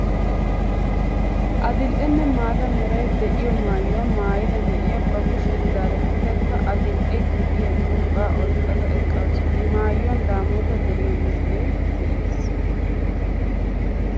Adil"e nne maata meray de'iyo maayuwa maayida na'iya ba kushiyan zaarettadakka adil"e gidiya curqqaa oyqqa eqqaasu. I maayuwan Daamoota deriya misilee de'es.